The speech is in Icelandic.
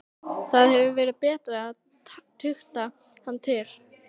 Það hefði verið betra að tukta hann til.